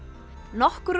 nokkur úr